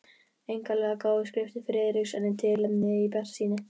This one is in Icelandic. Einkanlega gáfu skriftir Friðriks henni tilefni til bjartsýni.